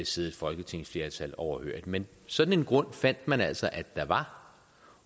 sidde et folketingsflertal overhørig men sådan en grund fandt man altså der var